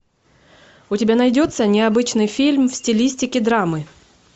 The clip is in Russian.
у тебя найдется необычный фильм в стилистике драмы